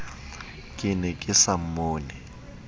ke ne ke sa mmone